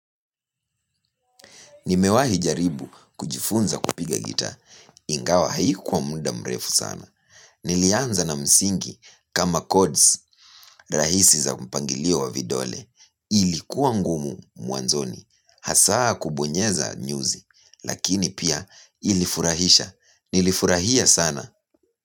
Nimewahi jaribu kujifunza kupiga gita. Ingawa haikuwa muda mrefu sana. Nilianza na msingi kama codes rahisi za mpangilio wa vidole. Ilikuwa ngumu mwanzoni. Hasa kubonyeza nyuzi. Lakini pia ilifurahisha. Nilifurahia sana.